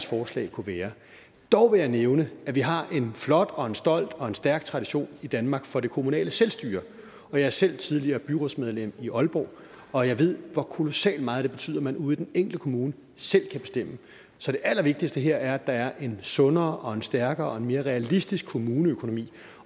forslag kunne være dog vil jeg nævne at vi har en flot og en stolt og en stærk tradition i danmark for det kommunale selvstyre jeg er selv tidligere byrådsmedlem i aalborg og jeg ved hvor kolossalt meget det betyder at man ude i den enkelte kommune selv kan bestemme så det allervigtigste her er at der er en sundere og en stærkere og en mere realistisk kommuneøkonomi